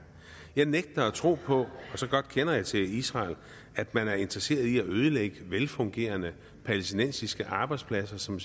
jeg nægter at tro på og så godt kender jeg til israel at man er interesseret i at ødelægge velfungerende palæstinensiske arbejdspladser som